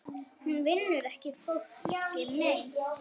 Hún vinnur ekki fólki mein.